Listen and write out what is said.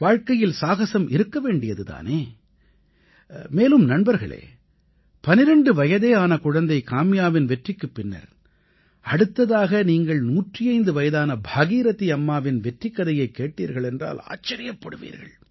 வாழ்க்கையில் சாகஸம் இருக்க வேண்டியது தானே மேலும் நண்பர்களே 12 வயதே ஆன குழந்தை காம்யாவின் வெற்றிக்குப் பின்னர் அடுத்ததாக நீங்கள் 105 வயதான பாகீரதி அம்மாவின் வெற்றிக் கதையைக் கேட்டீர்களென்றால் ஆச்சரிப்படுவீர்கள்